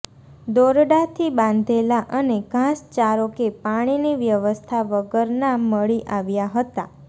દોરડાથી બાંધેલા અને ઘાસચારો કે પાણીની વ્યવસ્થા વગરના મળી આવ્યા હતા